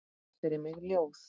Hún las fyrir mig ljóð.